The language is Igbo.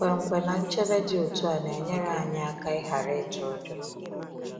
Nkwenkwe na nchebe dị otu a na-enyere anyị aka ịghara ịtụ ụjọ.